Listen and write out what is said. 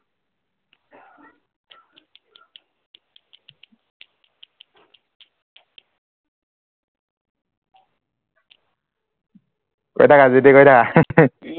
কৰি থাকা যিটি কৰি থাকা